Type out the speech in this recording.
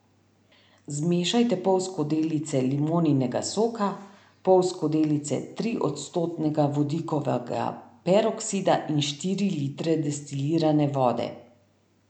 Zmešajte pol skodelice limoninega soka, pol skodelice tri odstotnega vodikovega peroksida in štiri litre destilirane vode.